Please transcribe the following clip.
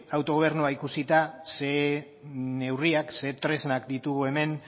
autogobernua ikusita zer neurriak zer tresnak ditugu hemen